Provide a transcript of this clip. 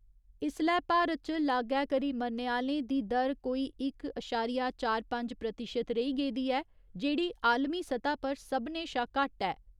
इसलै भारत च लागै करी मरने आह्‌लें दी दर कोई इक अशारिया चार पंज प्रतिशत रेही गेदी ऐ जेह्‌ड़ी आलमी सतह् पर सभनें शा घट्ट ऐ।